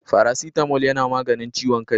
Faracitamol yana maganin ciwon kaii.